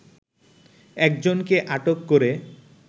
একজনকে আটক করে